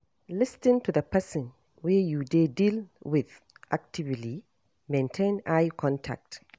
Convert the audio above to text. Lis ten to the person wey you dey deal with actively, maintain eye contact